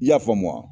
I y'a faamu wa